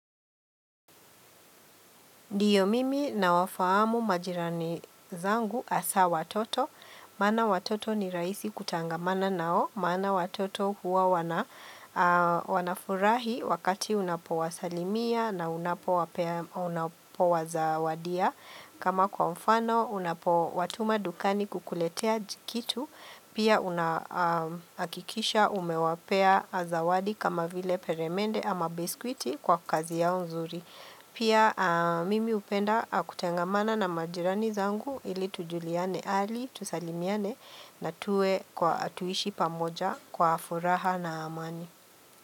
Ndiyo mimi nawafahamu majirani zangu hasaa watoto, maana watoto ni rahisi kutangamana nao, maana watoto huwa wanafurahi wakati unapowasalimia na unapowazawadia. Kama kwa mfano, unapowatuma dukani kukuletea jikitu, pia unahakikisha umewapea zawadi kama vile peremende ama biskwiti kwa kazi yao nzuri. Pia mimi hupenda kutengamana na majirani zangu ili tujuliane hali, tusalimiane na tuwe kwa, tuishi pamoja kwa furaha na amani.